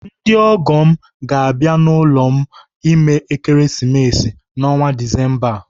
Ndị ọgọ m ga-abịa n'ụlọ m ime Ekeresimesi n'ọnwa Disemba a.